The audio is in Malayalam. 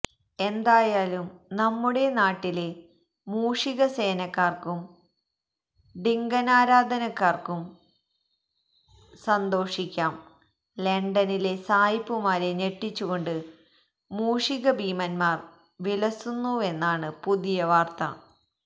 എന്തായാലും നമ്മുടെ നാട്ടിലെ മൂഷികസേനക്കാര്ക്കും ഡിങ്കനാരാധകര്ക്കും സന്തോഷിക്കാം ലണ്ടനിലെ സായിപ്പുമാരെ ഞെട്ടിച്ചുകൊണ്ട് മൂഷിക ഭീമന്മാര് വിലസുന്നുവെന്നാണ് പുതിയ വാര്ത്ത